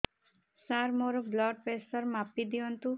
ସାର ମୋର blood pressure ମାପି ଦିଅନ୍ତୁ